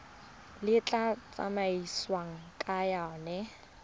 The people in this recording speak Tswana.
le tla tsamaisiwang ka yona